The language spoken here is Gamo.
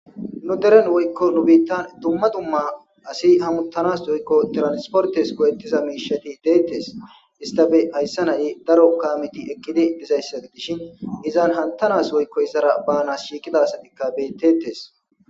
Nu deren woykko nu bitan dumma dumma asi hamuttanas doykko transportes koyettiza miishati deettes istabe hayssa naye daro kaamiti ekkidi dizayssa dishin izan hantanas woykko izara banas shiiqida asatikka bettettes.